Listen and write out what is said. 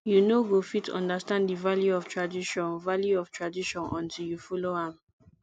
you no go fit understand the value of tradition value of tradition until you follow am